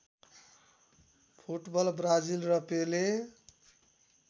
football Brazil र पेले